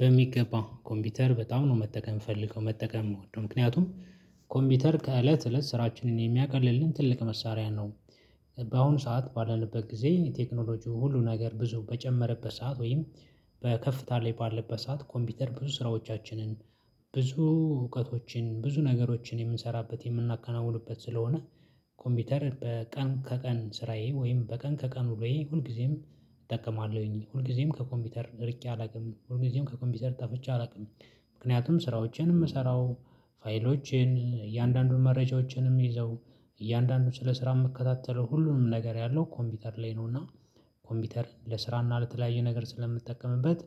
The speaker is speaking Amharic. በሚገባ ኮምቢተር በጣም ነው መጠቀም ምፈልገው መጠቀም ምወደው ምክንያቱም ኮምቢተር ከእለት እለት ስራችንን የሚያቀልልን ትልቅ መሳሪያ ነው። በአሁኑ ሰዓት ባለንበት ግዜ ቴክኖሎጂው ሁሉ ነገር ብዙ በጨመረበት ሰዓት ወይም በከፍታ ላይ ባለበት ሰዓት ኮምቢተር ብዙ ስራዎቻችንን ብዙ እውቀቶችን ብዙ ነገሮችን የምንሰራበት የምናከናውንበት ስለሆነ። ኮምቢተር በቀን ከቀን ስራዬ ወይም በቀን ከቀን ወይም ሁልግዜም እጠቀማለሁኝ ሁልግዜም ከኮምቢተር ርቄ አላቅም ሁልግዜም ከኮቢተር ጠፍቼ አላቅም። ምክንያቱም ስራዎችንም ምሰራው ፋይሎችን እያንዳንዱን መረጃዎችንም ምይዘው እያንዳንዱን ስለ ስራ ምከታተለው ሁሉንም ነገር ያለው ኮምቢተር ላይ ነውና። ኮምቢተር ለስራና ለተለያየ ነገር ስለምጠቀምበት።